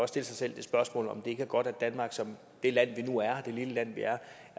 stille sig selv det spørgsmål om det ikke er godt at danmark som det land vi nu er det lille land vi er